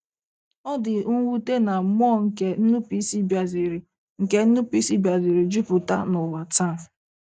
Ọ dị mwute na mmụọ nke nnupụisi bịaziri nke nnupụisi bịaziri jupụta n’ụwa taa.